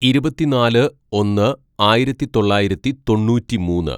"ഇരുപത്തിന്നാല് ഒന്ന് ആയിരത്തിതൊള്ളായിരത്തി തൊണ്ണൂറ്റിമൂന്ന്‌